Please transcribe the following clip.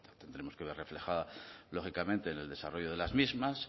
tenemos que ver reflejada lógicamente en el desarrollo de las mismas